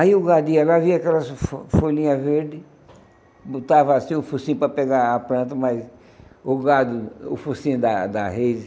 Aí o gadinho ia lá, via aquelas fo folhinhas verdes, botava assim o focinho para pegar a planta, mas o gado, o focinho da da reise...